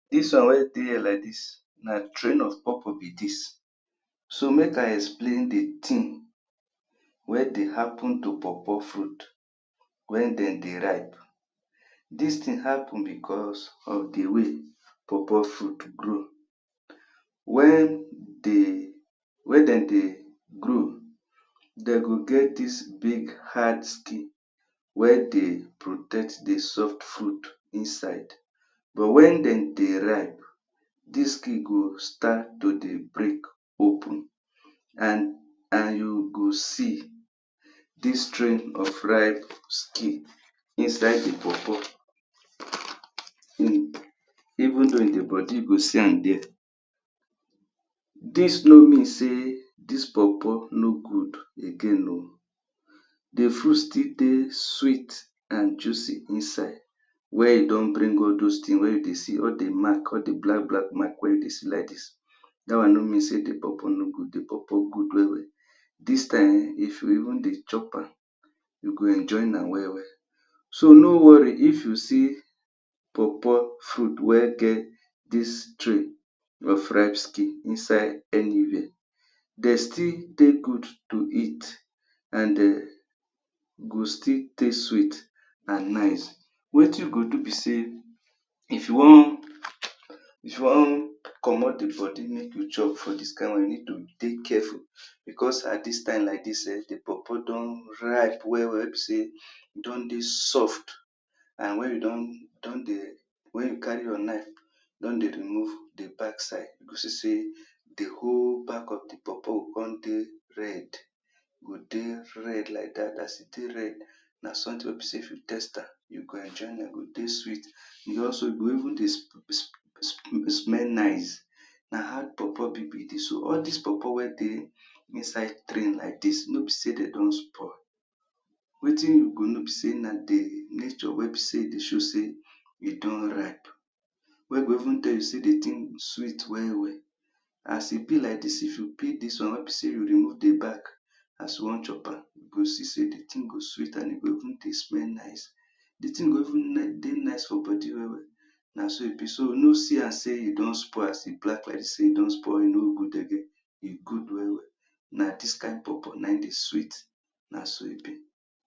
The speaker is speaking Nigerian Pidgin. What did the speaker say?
Dis one wey dey here like dis, na of pawpaw be dis. So, make I explain the tin wey dey happen to pawpaw fruit wen den dey ripe. Dis tin happen becos of the way pawpaw fruit grow. Wen de dey grow, de go get dis big hard skin wey dey protect the soft fruit inside. But wen de dey ripe, dis skin go start to dey break open, an you go see Dis of ripe skin inside the pawpaw even though in the body you go see am there. Dis no mean sey dis pawpaw no go again oh. The fruit still dey sweet an juicy inside. wen you don bring all dos tin wey you dey see all the mark, all the black-black mark wey you dey see like dis, dat one no mean sey the pawpaw no good; the pawpaw good well-well. Dis tin ehn, if you even dey chop am, you go enjoy nam well-well. So, no worry if you see pawpaw fruit wey get dis of ripe skin inside anywhere. De still dey good to eat, an um go still taste sweet an nice. Wetin you go do be sey if you wan comot the body make you chop for dis kain one, you need to dey careful. Becos at dis time like dis ehn, the pawpaw don ripe well-well wey be sey e don dey soft. An wen you don wen you carry your knife, you don dey remove the backside, you go see sey the whole back of the pawpaw go con dey red, e go dey red like dat. As e take red, na something wey be sey if you taste am, you go enjoy e go taste sweet E go also, e go even dey smell nice. Na how pawpaw be be dis oh. All dis pawpaw wey dey inside tree like dis, no be sey de don spoil. Wertin you go know be sey na the nature wey be sey dey show sey e don ripe. Wey go even tell you sey the tin sweet well-well. As e be like dis, if you peel dis one wey be sey you remove the back as you wan chop am, you go see sey the tin go sweet an e go even dey smell nice. The tin go even dey nice for body well-well. Na so e be. So, no see am sey e don spoil as e black like dis sey e don spoil e no good again. E good well-well. Na dis kain pawpaw, na ein dey swee. Na so e be.